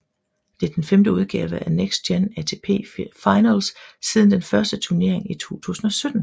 Det er den femte udgave af Next Gen ATP Finals siden den første turnering i 2017